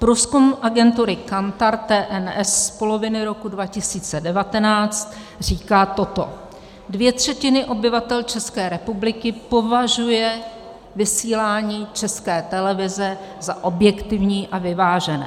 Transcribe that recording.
Průzkum agentury Kantar TNS z poloviny roku 2019 říká toto: Dvě třetiny obyvatel České republiky považují vysílání České televize za objektivní a vyvážené.